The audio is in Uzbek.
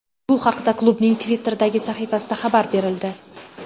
Bu haqda klubning Twitter’dagi sahifasida xabar berildi .